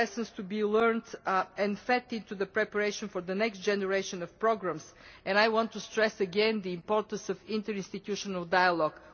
there are lessons to be learnt and fed into the preparation for the next generation of programmes, and I want to stress again the importance of interinstitutional dialogue.